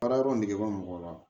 Baara yɔrɔ negebɔ mɔgɔ la